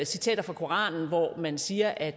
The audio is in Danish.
citeret fra koranen hvor man siger at